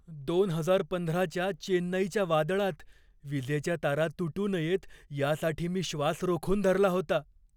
दोन हजार पंधराच्या चेन्नईच्या वादळात विजेच्या तारा तुटू नयेत यासाठी मी श्वास रोखून धरला होता.